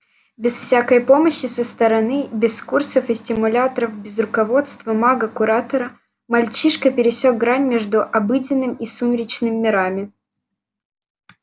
без всякой помощи со стороны без курсов и стимуляторов без руководства мага-куратора мальчишка пересёк грань между обыденным и сумеречным мирами